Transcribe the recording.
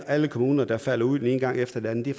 alle kommuner der falder ud den ene gang efter den anden det